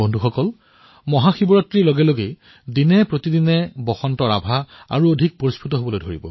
বন্ধুসকল মহাশিৱৰাত্ৰিৰ সৈতে বসন্ত ঋতুৰ আভাও এতিয়া দিনে দিনে বৃদ্ধি হব